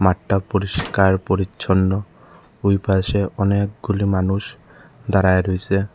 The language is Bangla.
মাঠটা পরিষ্কার পরিচ্ছন্ন ঐ পাশে অনেকগুলি মানুষ দাঁড়ায়ে রইসে।